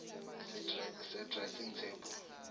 se dressing table